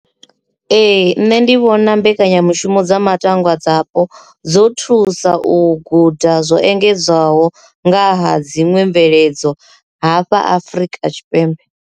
Ee, nṋe ndi vhona mbekanyamushumo dza matangwa dzapo dzo thusa u guda zwo engedzwaho ngaha dziṅwe mveledzo hafha Afrika Tshipembe.